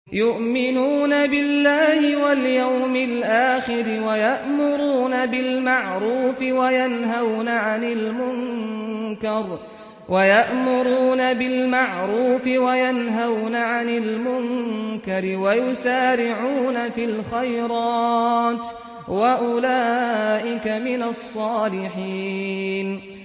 يُؤْمِنُونَ بِاللَّهِ وَالْيَوْمِ الْآخِرِ وَيَأْمُرُونَ بِالْمَعْرُوفِ وَيَنْهَوْنَ عَنِ الْمُنكَرِ وَيُسَارِعُونَ فِي الْخَيْرَاتِ وَأُولَٰئِكَ مِنَ الصَّالِحِينَ